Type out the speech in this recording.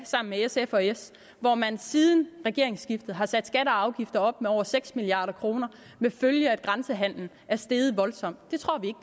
sammen med sf og s hvor man siden regeringsskiftet har sat skatter og afgifter op med over seks milliard kroner med den følge at grænsehandelen er steget voldsomt det tror vi